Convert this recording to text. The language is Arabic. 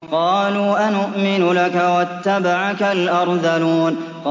۞ قَالُوا أَنُؤْمِنُ لَكَ وَاتَّبَعَكَ الْأَرْذَلُونَ